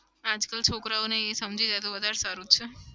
આજકલ છોકરાઓને એ સમજી જાય તો વધારે સારું છે.